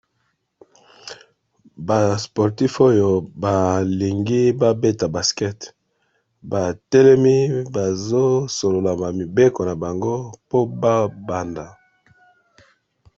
Ba sportif oyo balingi babeta baskete batelemi bazo solola ma mibeko na bango po babanda.